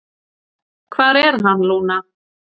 """Hvar er hann, Lúna?"""